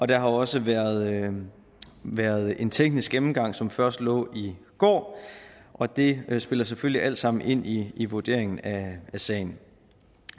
der har også været en været en teknisk gennemgang som først lå i går og det spiller selvfølgelig alt sammen ind i i vurderingen af sagen